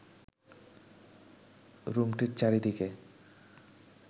রুমটির চারদিকে